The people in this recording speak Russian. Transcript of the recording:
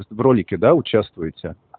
в ролике да участвуете